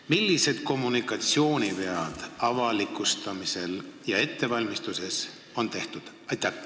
Millised kommunikatsioonivead avalikustamisel ja ettevalmistuses on tehtud?